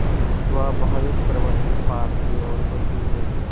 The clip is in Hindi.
स्वाभाविक प्रवृत्ति पाप की ओर होती है